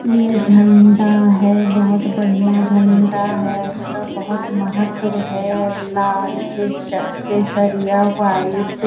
ये झंडा है बहुत बढ़िया झंडा है। इसका बहुत महत्व है। लाल केश केशरिया वाइट --